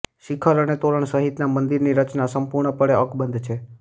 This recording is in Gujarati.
શિખર અને તોરણ સહિતના મંદિરની રચના સંપૂર્ણપણે અકબંધ છે